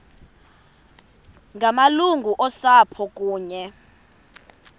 ngamalungu osapho kunye